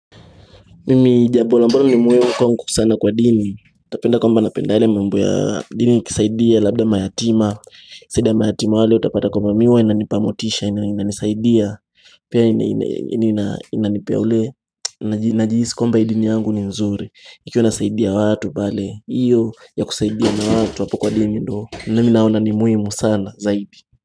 Mimi jambo ambalo ni muhimu kwangu sana kwa dini. Utapenda kwamba napenda yale mambo ya dini kisaidia labda mayatima. Kusaidia mayatima wale utapata kompa miwe inanipa motisha inanisaidia. Pia inanipea ule najihisi kwamba hii dini yangu ni nzuri. Ikiwa nasaidia watu pale. Iyo ya kusaidia na watu hapo kwa dini ndo. Nami naona ni muhimu sana zaidi.